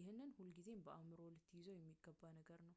ይህንን ሁልጊዜም በአእምሮህ ልትይዘው የሚገባ ነገር ነው